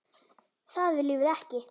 Það viljum við ekki.